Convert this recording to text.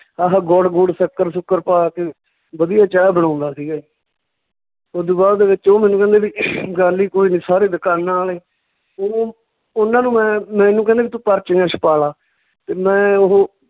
ਆਹ ਗੁੜ ਗੂੜ, ਸੱਕਰ ਸੂਕਰ ਪਾ ਕੇ ਵਧੀਆ ਚਾਹ ਬਣਾਉਂਦਾ ਸੀਗਾ ਓਦੂ ਬਾਅਦ ਦੇ ਵਿੱਚ ਉਹ ਮੈਨੂੰ ਕਹਿੰਦੇ ਵੀ ਗੱਲ ਈ ਕੋਈ ਨੀ ਸਾਰੇ ਦਕਾਨਾਂ ਆਲੇ ਉਹਨਾਂ ਨੂੰ ਮੈਂ ਮੈਨੂੰ ਕਹਿੰਦੇ ਵੀ ਤੂੰ ਪਰਚੀਆਂ ਛਪਾਲਾ ਤੇ ਮੈਂ ਉਹ